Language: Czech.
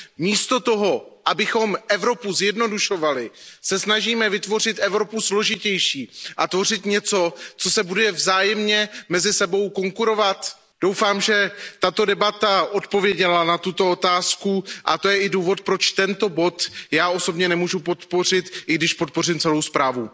Místo toho, abychom Evropu zjednodušovali, se snažíme vytvořit Evropu složitější a vytvořit něco, co si bude vzájemně mezi sebou konkurovat. Doufám, že tato debata odpověděla na tuto otázku, a to je i důvod, proč tento bod já osobně nemůžu podpořit, i když podpořím celou zprávu.